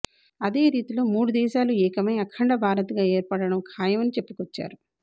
అదే రీతిలోమూడు దేశాలు ఏకమై అఖండ భారత్ గా ఏర్పడటం ఖాయమని చెప్పుకొచ్చారు